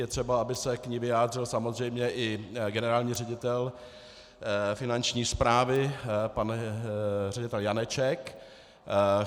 Je třeba, aby se k ní vyjádřil samozřejmě i generální ředitel Finanční správy pan ředitel Janeček.